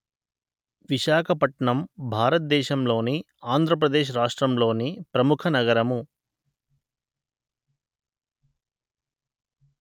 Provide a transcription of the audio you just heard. విశాఖపట్నం భారత దేశంలోని ఆంధ్ర ప్రదేశ్‌ రాష్ట్రంలోని ప్రముఖ నగరము